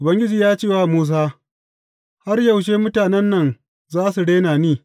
Ubangiji ya ce wa Musa, Har yaushe mutanen nan za su rena ni?